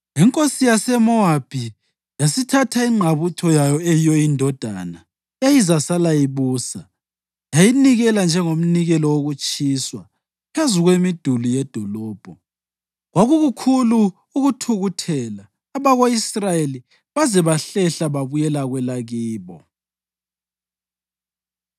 Inkosi yaseMowabi yasithatha ingqabutho yayo eyiyo indodana eyayizasala ibusa yayinikela njengomnikelo wokutshiswa phezu kwemiduli yedolobho. Kwakukukhulu ukuthukuthelela abako-Israyeli baze bahlehla babuyela kwelakibo.